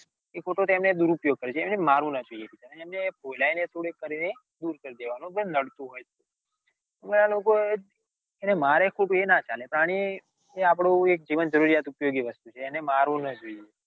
એ ખોટો ટીમે નો દુરુપયોગ કરે છે અને મારવું ના જોઈએ એને ફોળાઈને થોડું કરીને દૂર કરી દેવાનુ નડતું હોય તો ને આ લોકો એને મારે ખોટું એ ના ચાલે પ્રાણીએ આપણું એક જીવનજરૃરિયાત ઉપયોગી વસ્તુ છ. એને મારવું ના જોઈએ